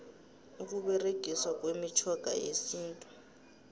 ukuberegiswa kwemitjhoga yesintu